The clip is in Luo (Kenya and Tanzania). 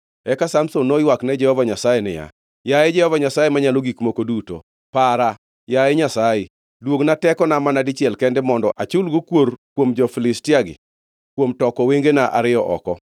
Eka Samson noywak ne Jehova Nyasaye niya, “Yaye Jehova Nyasaye Manyalo Gik Moko Duto, para! Yaye Nyasaye, duogna teko mana dichiel kende mondo achulgo kuor kuom jo-Filistia-gi kuom toko wengena ariyo oko.”